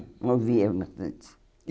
Ouvia bastante.